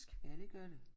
Ja det gør det